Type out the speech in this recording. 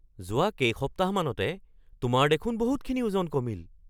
যোৱা কেইসপ্তাহমানতে তোমাৰ দেখোন বহুতখিনি ওজন কমিল!